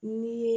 Ni ye